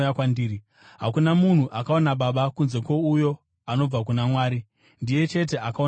Hakuna munhu akaona Baba kunze kwouyo anobva kuna Mwari; ndiye chete akaona Baba.